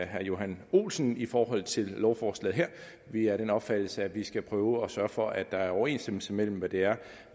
herre johan olsen i forhold til lovforslaget her vi er af den opfattelse at vi skal prøve at sørge for at der er overensstemmelse imellem hvad det er